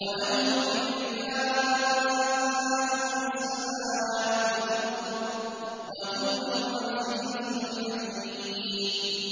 وَلَهُ الْكِبْرِيَاءُ فِي السَّمَاوَاتِ وَالْأَرْضِ ۖ وَهُوَ الْعَزِيزُ الْحَكِيمُ